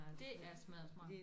Det er smadder smart